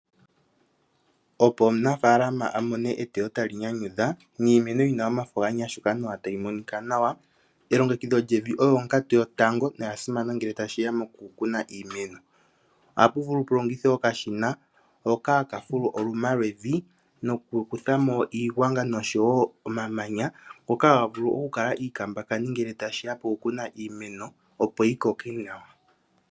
Opo omunafalama a mone eteyo ewanawa tali nyanyudha niimeno yina omafo ganyashuka nawa, elongekidho lyevi olyo onkatu yotango noya simana ngele tashi ya moku kuna iimeno. Ohapu vulu pu longithwe okashina hoka haka fulu oluma lwevi nokukutha mo iigwanga noshowo omamanya ngoka haga vulu oku kala iikambakani ngele tashiya pokukuna iimeno, opo yi koke nawa.